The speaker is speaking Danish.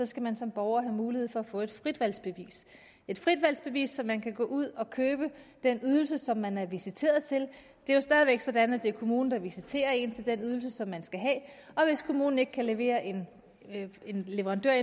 skal man som borger have mulighed for at få et fritvalgsbevis et fritvalgsbevis der man kan gå ud at købe den ydelse som man er visiteret til det er jo stadig væk sådan at det er kommunen der visiterer en til den ydelse som man skal have og hvis kommunen ikke kan levere en leverandør